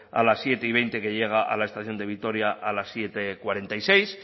a las siete veinte que llega a la estación de vitoria a las siete cuarenta y seis